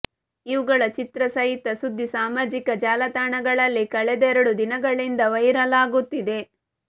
ಇವುಗಳ ಚಿತ್ರ ಸಹಿತ ಸುದ್ದಿ ಸಾಮಾಜಿಕ ಜಾಲತಾಣಗಳಲ್ಲಿ ಕಳೆದೆರಡು ದಿಗಳಿಂದ ವೈರಲ್ ಆಗುತ್ತಿದೆ